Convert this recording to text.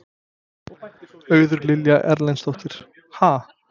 Auður Lilja Erlendsdóttir: Ha?